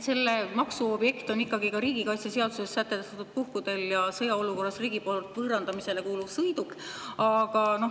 Selle maksu objekt on ka riigikaitseseaduses sätestatud puhkudel ja sõjaolukorras riigi poolt võõrandamisele kuuluv sõiduk.